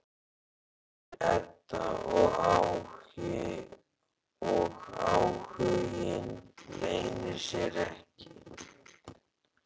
segir Edda og áhuginn leynir sér ekki.